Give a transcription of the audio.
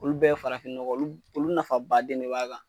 Olu bɛɛ farafin nɔgɔ olu olu nafabaden de b'a kan.